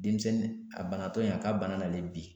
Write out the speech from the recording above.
Denmisɛnnin a banatɔ in a ka bana nale bi